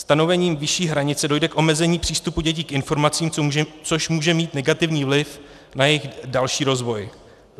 Stanovením vyšší hranice dojde k omezení přístupu dětí k informacím, což může mít negativní vliv na jejich další rozvoj.